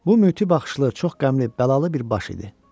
Bu mütib baxışlı, çox qəmli, bəlalı bir baş idi.